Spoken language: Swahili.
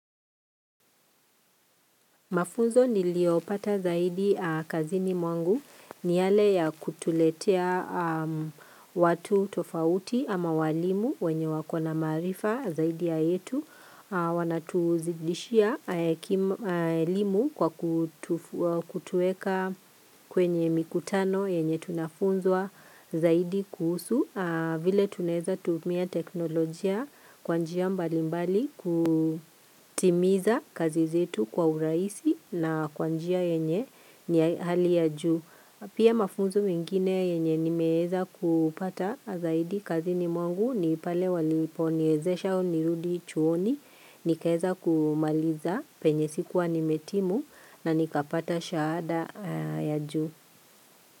Mafunzo niliopata zaidi kazini mwangu ni yale ya kutuletea watu tofauti ama walimu wenye wakona marifa zaidi ya yetu. Wanatuzidishia elimu kwa kutueka kwenye mikutano yenye tunafunzwa zaidi kuhusu. Vile tuneza tuumia teknolojia kwa njia mbali mbali kutimiza kazi zetu kwa uraisi na kwa njia yenye ni hali ya juu. Pia mafunzo wengine yenye nimeeza kupata zaidi kazini mwangu ni pale waliponiezesha nirudi chuoni, nikaeza kumaliza penye sikuwa nimetimu na nikapata shahada ya ju.